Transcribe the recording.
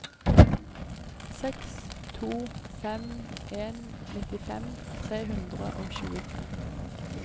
seks to fem en nittifem tre hundre og tjuetre